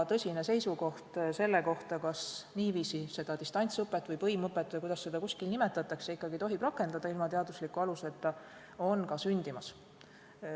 Seisukoht selle kohta, kas niiviisi seda distantsõpet või põimõpet, kuidas seda kuskil nimetatakse, ikkagi tohib rakendada, ilma teadusliku aluseta, on ka sündimas.